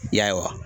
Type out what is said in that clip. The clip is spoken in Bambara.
Ya